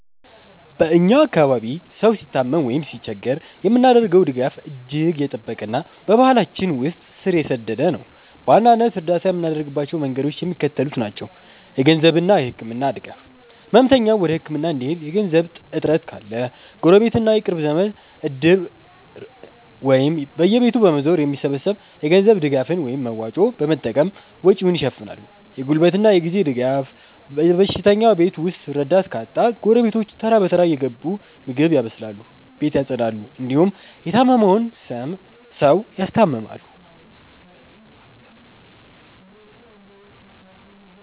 በ እኛ አካባቢ ሰው ሲታመም ወይም ሲቸገር የምናደርገው ድጋፍ እጅግ የጠበቀና በባህላችን ውስጥ ስር የሰደደ ነው። በዋናነት እርዳታ የምናደርግባቸው መንገዶች የሚከተሉት ናቸው -የገንዘብና የህክምና ድጋፍ፦ ህመምተኛው ወደ ህክምና እንዲሄድ የገንዘብ እጥረት ካለ፣ ጎረቤትና የቅርብ ዘመድ "እድር"ን ወይም በየቤቱ በመዞር የሚሰበሰብ የገንዘብ ድጋፍን (መዋጮ) በመጠቀም ወጪውን ይሸፍናሉ። የጉልበትና የጊዜ ድጋፍ፦ በሽተኛው ቤት ውስጥ ረዳት ካጣ፣ ጎረቤቶች ተራ በተራ እየገቡ ምግብ ያበስላሉ፣ ቤት ያፀዳሉ እንዲሁም የታመመውን ሰው ያስታምማሉ።